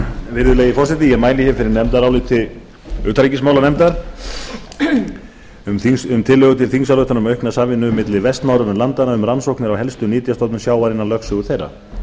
virðulegi forseti ég mæli fyrir nefndaráliti utanríkismálanefndar um tillögu til þingsályktunar um aukna samvinnu milli vestnorrænu landanna um rannsóknir á helstu nytjastofnum sjávar innan lögsögu þeirra